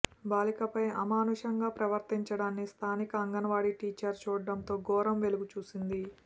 బాలికపై అమానుషంగా ప్రవర్తించడాన్ని స్థానిక అంగన్వాడీ టీచర్ చూడడంతో ఘోరం వెలుగుచూసింది